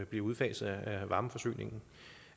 bliver udfaset af varmeforsyningen